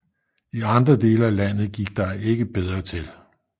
I andre dele af landet gik der ikke bedre til